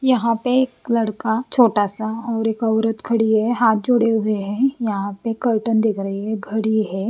यहाँ पे एक लड़का छोटा सा और एक औरत खड़ी है हाथ जोड़े हुए हैं यहाँ पे कर्टन दिख रही है घड़ी है।